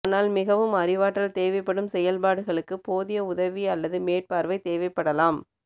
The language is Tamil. ஆனால் மிகவும் அறிவாற்றல் தேவைப்படும் செயல்பாடுகளுக்கு போதிய உதவி அல்லது மேற்பார்வை தேவைப்படலாம்